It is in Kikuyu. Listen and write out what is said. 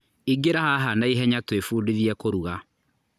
Ingĩra haha naihenya twĩbudithie kũruga.